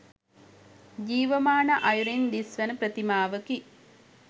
ජීවමාන අයුරින් දිස්වන ප්‍රතිමාවකි